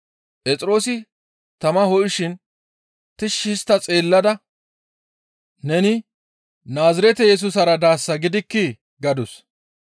Phexroosi tama ho7ishin tishshi histta xeellada, «Neni Naazirete Yesusara daasa gidikkii?» gadus.